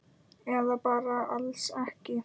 Eða bara alls ekki.